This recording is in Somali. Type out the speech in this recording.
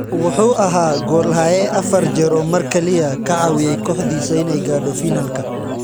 Wuxuu ahaa goolhaye afar jeer oo mar kaliya ka caawiyay kooxdiisa inay gaadho finalka.